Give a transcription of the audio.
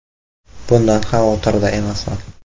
“Bundan xavotirda emasman.